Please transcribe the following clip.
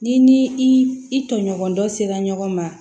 Ni ni i i tɔɲɔgɔn dɔ sera ɲɔgɔn ma